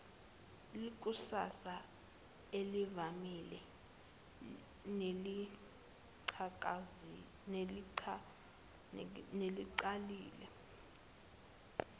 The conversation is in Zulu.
lekusasa elivamile nelingacacile